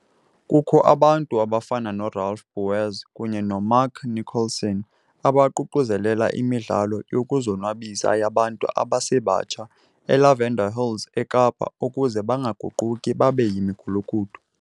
Kukho abantu abafana noRalph Bouwers kunye noMark Nicholson, abaququzelela imidlalo yokuzonwabisa yabantu abasebatsha eLavender Hills eKapa ukuze bangaguquki babe yimigulukudu.